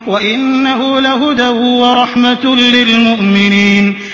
وَإِنَّهُ لَهُدًى وَرَحْمَةٌ لِّلْمُؤْمِنِينَ